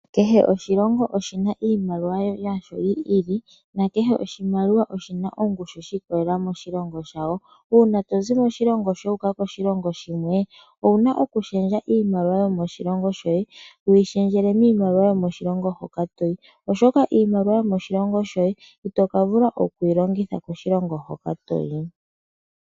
Kehe oshilongo oshina iimaliwa yasho yi ili kehe oshimaliwa oshina ongushu shi ikolelelela moshilongo shawo. Una tozi moshilongo shoye wu uka koshilongo shimwe owuna oku shendja iimaliwa yomoshilongo shoye wuyi shendjele miimaliwa yomoshilongo hoka toyi. Oshoka iimaliwa yomoshilongo shoye ito ka vula oku yi longitha koshilongo hoka toyi.